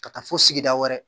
Ka taa fo sigida wɛrɛ